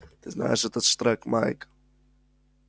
ты знаешь этот штрек майк